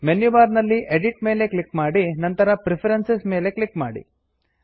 menu bar ನಲ್ಲಿ edit edit ಮೇಲೆ click ಮಾಡಿ ನಂತರ ಪ್ರೆಫರೆನ್ಸಸ್ ಪ್ರಿಫರೆನ್ಸ್ ಮೇಲೆ ಕ್ಲಿಕ್ ಮಾಡಿ